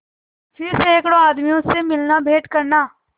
फिर सैकड़ों आदमियों से मिलनाभेंट करना